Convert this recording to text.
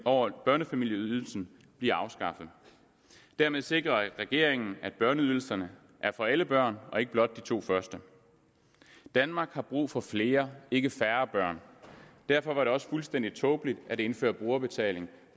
over børnefamilieydelsen bliver afskaffet dermed sikrer regeringen at børneydelserne er for alle børn og ikke blot for de to første danmark har brug for flere ikke færre børn derfor var det også fuldstændig tåbeligt at indføre brugerbetaling